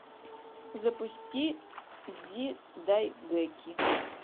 запусти дзидайгэки